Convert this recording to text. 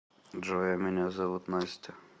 джой а меня зовут настя